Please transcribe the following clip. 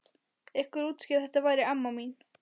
Einhver útskýrði að þetta væri amma mín.